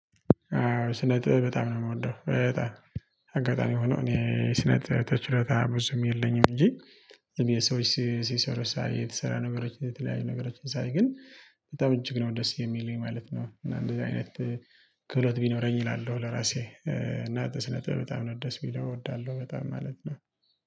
ስነ ጥበብ በጣም ነው የምወደው በጣም አጋጣሚ ሆኖ እኔ ስነ ተችለታ ብዙም የለኝም እንጂ። የሰዎች ሲሰሩ ሳይ የተሰራ ነገሮች የተለያዩ ነገሮችን ሳይ ግን በጣም እጅግ ነው ደስ የሚለኝ ማለት ነው። እና እንደዚህ አይነት ክብረት ቢኖረኝ እላለሁ ለራሴ። እና ትስነጥብ በጣም ነው ደስ የሚለው እወዳለሁ በጣም ማለት ነው።